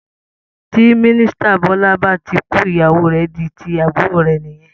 Tí Misita Bọ́lá bá kú, ìyàwó rè di tíì àbúrò rẹ̀ nìyẹn